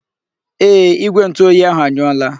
Ee, Igwe ntu oyi ahụ anyụọla.